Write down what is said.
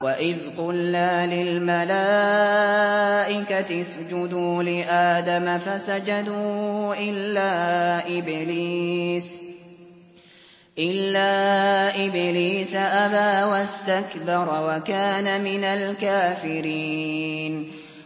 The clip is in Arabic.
وَإِذْ قُلْنَا لِلْمَلَائِكَةِ اسْجُدُوا لِآدَمَ فَسَجَدُوا إِلَّا إِبْلِيسَ أَبَىٰ وَاسْتَكْبَرَ وَكَانَ مِنَ الْكَافِرِينَ